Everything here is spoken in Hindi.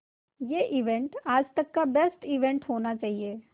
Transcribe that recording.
ये इवेंट आज तक का बेस्ट इवेंट होना चाहिए